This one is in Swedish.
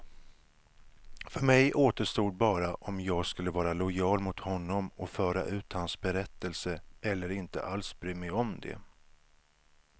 För mig återstod bara om jag skulle vara lojal mot honom och föra ut hans berättelse, eller inte alls bry mig om det.